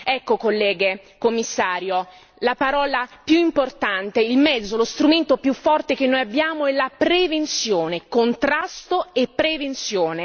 Ecco colleghe, Commissario, la parola più importante, il mezzo, lo strumento più forte che noi abbiamo è la prevenzione, contrasto e prevenzione.